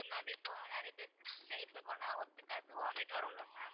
okay ma'am இப்போ நிறைய பேரு flight ல போனா ஒத்துக்காது vomit வரும்ல ma'am